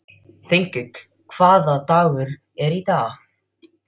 Þengill, hvaða dagur er í dag?